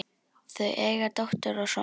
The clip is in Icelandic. Þau eiga dóttur og son.